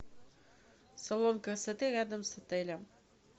салон красоты рядом с отелем